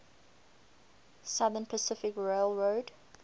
southern pacific railroad